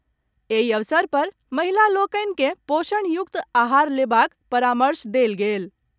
एहि अवसर पर महिला लोकनि के पोषण युक्त आहार लेबाक परामर्श देल गेल।